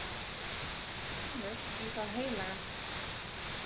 Vinur í það heilaga